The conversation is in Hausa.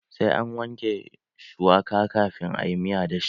Sai an wanke shuwaka kafin a yi miya da shi.